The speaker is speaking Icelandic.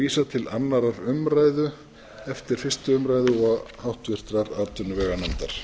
vísað til annarrar umræðu eftir fyrstu umræðu og háttvirtrar atvinnuveganefndar